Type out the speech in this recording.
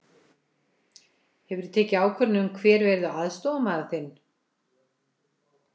Hefurðu tekið ákvörðun um hver verður aðstoðarmaður þinn?